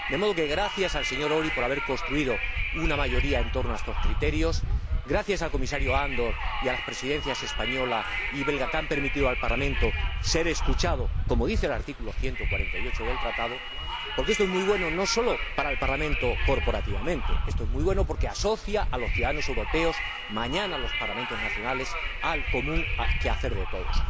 De modo que, gracias al señor Őry por haber construido una mayoría en torno a estos criterios, gracias al Comisario Andor y a las Presidencias española y belga, que han permitido que el Parlamento sea escuchado, como señala el artículo 148 del Tratado, porque esto es muy bueno no sólo para el Parlamento corporativamente, esto es muy bueno porque asocia a los ciudadanos europeos, mañana a los Parlamentos nacionales, al común quehacer de todos.